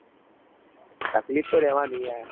તકલીફ તો રેવાની યાર